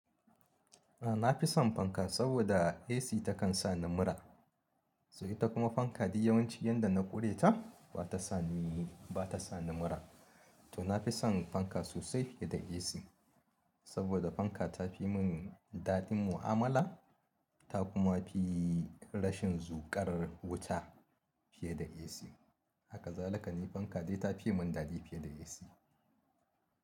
A'a nafison fanka saboda AC takan sa ni mura, sai ita kuma fanka duk yawanci yanda na ƙure ta bata sa ni mura. To nafison fanka sosai fiye da AC saboda fanka tafi mun daɗin mu'amala ta kuma fi rashin zuƙar wuta fiye da AC. Hakazalika fanka dai ta fi mun daɗi fiye da AC.